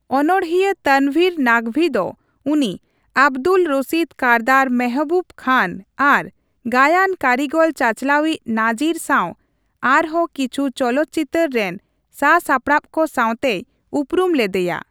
ᱚᱱᱚᱲᱦᱤᱭᱟᱹ ᱛᱚᱱᱵᱷᱤᱨ ᱱᱟᱠᱚᱵᱷᱤ ᱫᱚ ᱩᱱᱤ ᱟᱵᱫᱩᱞ ᱨᱚᱥᱤᱫ ᱠᱟᱨᱫᱟᱨ, ᱢᱮᱦᱵᱩᱵ ᱠᱷᱟᱱ ᱟᱨ ᱜᱟᱭᱟᱱ ᱠᱟᱨᱤᱜᱚᱞᱼᱪᱟᱪᱞᱟᱣᱤᱡ ᱱᱟᱡᱤᱨ ᱥᱟᱣ ᱟᱨᱦᱚᱸ ᱠᱤᱪᱷᱩ ᱪᱚᱞᱚᱛ ᱪᱤᱛᱟᱹᱨ ᱨᱮᱱ ᱥᱟᱼᱥᱟᱯᱲᱟᱣ ᱠᱚ ᱥᱟᱣᱛᱮᱭ ᱩᱯᱨᱩᱢ ᱞᱮᱫᱮᱭᱟ ᱾